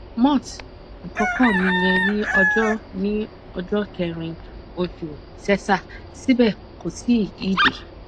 moth àkókò mi yẹ ní ọjọ ní ọjọ kẹrin oṣù sẹsà síbẹ kò tí ì dé